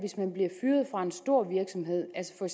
at en stor virksomhed altså